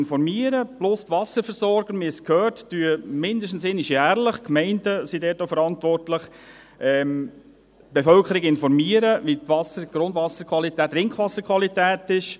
zusätzlich informieren die Wasserversorger – wir haben es gehört – mindestens einmal jährlich die Bevölkerung – die Gemeinden sind dort auch verantwortlich –, wie die Wasser-, Grundwasser- und Trinkwasserqualität ist.